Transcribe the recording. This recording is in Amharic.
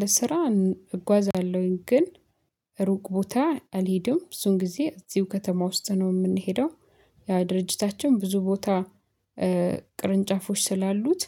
ለስራ እጓዛለሁኝ ግን ሩቅ ቦታ አልሄድም ብዙን ጊዜ እዚሁ ከተማ ውስጥ ነው የምንሄደው። ያ ድርጅታቸውን ብዙ ቦታ ቅርንጫፎች ስላሉት።